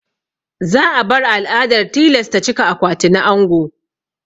Za a bar al'adar tilasta cika akwati na ango.